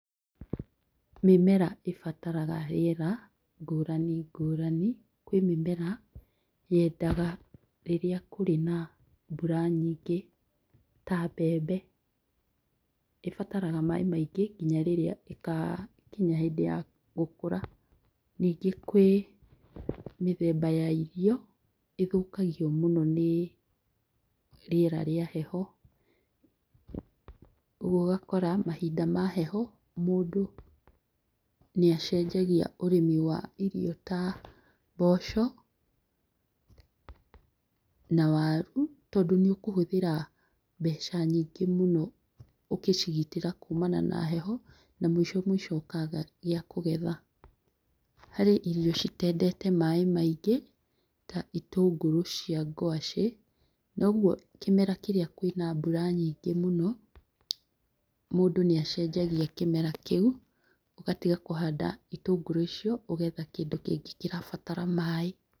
Mĩmera ĩbataraga rĩera ngũrani ngũrani, kwĩ mĩmera yendaga rĩrĩa kũrĩ na mbura nyingĩ ,ta mbembe, ĩbataraga maĩ maingĩ nginya rĩrĩa ĩgakinya hĩndĩ ya gũkũra, ningĩ kwĩ mĩthemba ya irio ĩthũkagio mũno nĩ rĩera rĩa heho, ũguo ũgakora mahinda ma heho mũndũ nĩ acenjia ũrĩmi wa irio ta mboco na waru, tondũ nĩ ũkũhũthĩra mbeca nyingĩ mũno ũgĩcigitĩra kumana na heho na mũico mũico ũkaga gĩa kũgetha, harĩ irio citendete maĩ maingĩ ta itũngũrũ cia ngwacĩ na ũguo kĩmera kĩrĩa kwĩna mbura nyingĩ mũno, mũndũ nĩ acenjagia kĩmera kĩu ũgatiga kũhanda itũngũrũ icio ũgetha kĩndũ kĩngĩ kĩrabatara maĩ.